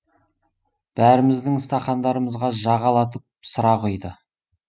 бәріміздің стақандарымызға жағалатып сыра құйды